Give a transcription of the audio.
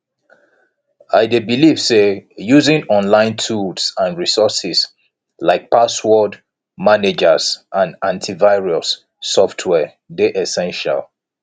i dey believe say using online tools and resources like password managers and antivirus software dey essential